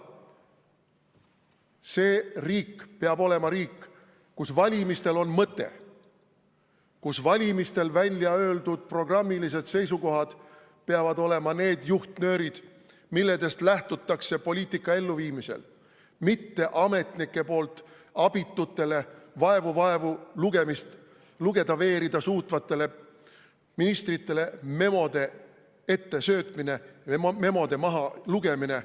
See riik peab olema riik, kus valimistel on mõte, kus valimistel välja öeldud programmilised seisukohad peavad olema juhtnöörid, millest lähtutakse poliitika elluviimisel, mitte ametnike poolt abitutele, vaevu-vaevu lugeda või veerida suutvatele ministritele ettesöödetud memod, mis maha loetakse.